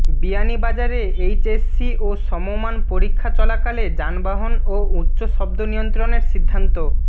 বিয়ানীবাজারে এইচএসসি ও সমমান পরীক্ষা চলাকালে যানবাহন ও উচ্চ শব্দ নিয়ন্ত্রণের সিদ্ধান্ত